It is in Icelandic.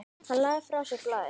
Hann lagði frá sér blaðið.